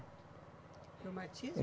Reumatismo?